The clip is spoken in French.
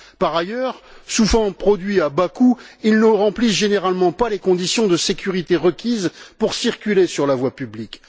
Par ailleurs, souvent produits à bas coût, ils ne remplissent généralement pas les conditions de sécurité requises pour circuler sur la voie publique.